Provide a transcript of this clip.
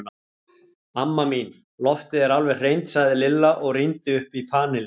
Amma mín, loftið er alveg hreint sagði Lilla og rýndi upp í panelinn.